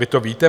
Vy to víte?